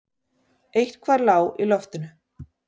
Eitthvað lá í loftinu.